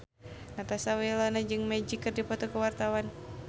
Natasha Wilona jeung Magic keur dipoto ku wartawan